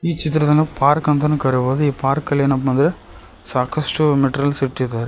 ಚಿತ್ರವನ್ನು ಪಾರ್ಕ್ ಅಂತಾನೂ ಕರೀಬಹುದು ಈ ಪಾರ್ಕಲ್ಲಿ ಏನಪ್ಪಾ ಅಂದ್ರೆ ಸಾಕಷ್ಟು ಮೆಟೀರಿಯಲ್ಸ್ ಇಟ್ಟಿದ್ದಾರೆ.